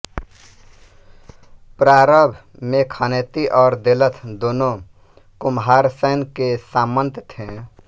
प्रारंभ में खनेती और देलथ दोनों कुम्हारसैन के सामंत थे